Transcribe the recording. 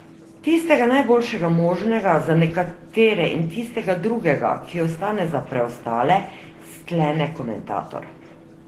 Tistega najboljšega možnega za nekatere in tistega drugega, ki ostane za preostale, sklene komentator.